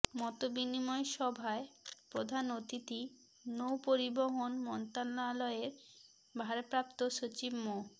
মতবিনিময় সভায় প্রধান অতিথি নৌপরিবহন মন্ত্রণালয়ের ভারপ্রাপ্ত সচিব মো